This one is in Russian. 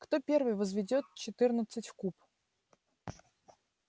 кто первый возведёт четырнадцать в куб